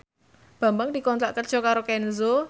Bambang dikontrak kerja karo Kenzo